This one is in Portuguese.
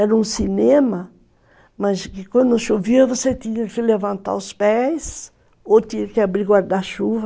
Era um cinema, mas quando chovia você tinha que levantar os pés ou tinha que abrir guarda-chuva.